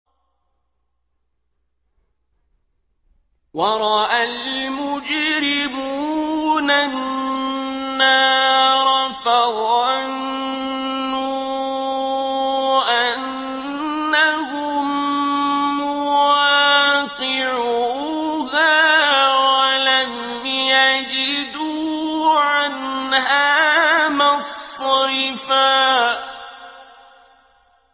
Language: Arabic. وَرَأَى الْمُجْرِمُونَ النَّارَ فَظَنُّوا أَنَّهُم مُّوَاقِعُوهَا وَلَمْ يَجِدُوا عَنْهَا مَصْرِفًا